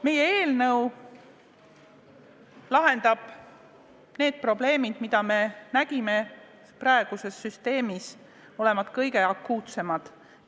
Meie eelnõu lahendab need probleemid, mida me peame praeguses süsteemis kõige akuutsemateks.